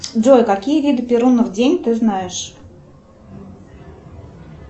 джой какие виды перунов день ты знаешь